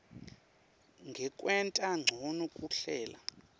ngekwenta ncono kuhlela